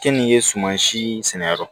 Keninge suma si sɛnɛ yɔrɔ